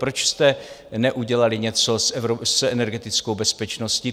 Proč jste neudělali něco s energetickou bezpečností?